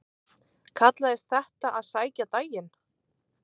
Kallaðist þetta að sækja daginn.